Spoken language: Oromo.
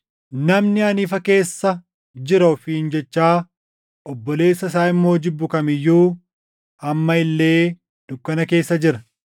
Namni ani ifa keessa jira ofiin jechaa obboleessa isaa immoo jibbu kam iyyuu amma illee dukkana keessa jira.